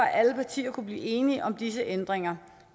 alle partier kunne blive enige om disse ændringer